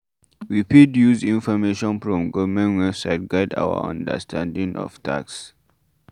We fit use information from government website guide our understanding of tax